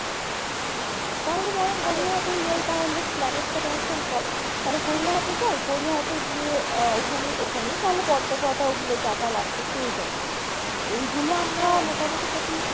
তাহলে বরং গড়িয়াহাটেই যাই তাহলে Esplanade টা cancel কর তাহলে গড়িয়াহাটে যাই গড়িয়াহাটে গিয়ে আহ ওখানেই ওখানেই তাহলে পর্দা ওগুলো যা যা লাগবে পেয়েই যাবো এইগুলো আমরা মোটামটি যদি